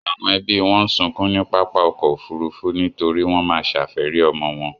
Àwọn ẹbí wọn ń sunkún ní pápá ọkọ̀ Òfurufú nítorí wọ́n má ṣàfẹ́rí ọmọ wọn.